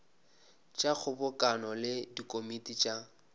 tša kgobokano le dikomiti tša